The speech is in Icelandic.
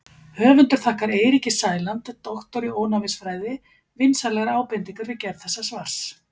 Höfundur þakkar Eiríki Sæland, doktor í ónæmisfræði, vinsamlegar ábendingar við gerð þessa svars.